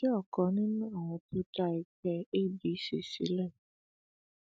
mo jẹ ọkan nínú àwọn tó dá ẹgbẹ adc sílẹ